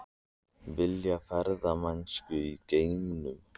Vilja ferðamennsku í geimnum